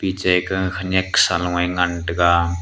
ka khenyak saloe ngan taiga.